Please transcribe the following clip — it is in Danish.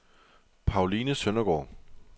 Pauline Søndergård